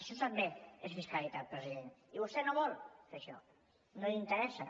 això també és fiscalitat president i vostè no vol fer això no li interessa